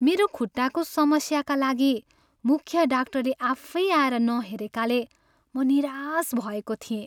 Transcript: मेरो खुट्टाको समस्याका लागि मुख्य डाक्टरले आफैँ आएर नहेरेकाले म निराश भएको थिएँ।